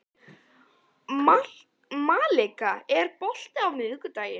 Malika, er bolti á miðvikudaginn?